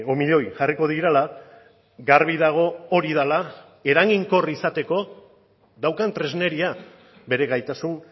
milioi jarriko direla garbi dago hori dela eraginkor izateko daukan tresneria bere gaitasun